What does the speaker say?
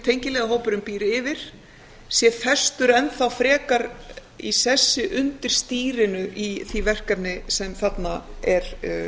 tengiliðahópurinn býr yfir sé festur enn þá frekar í sessi undir stýri í því verkefni sem þarna er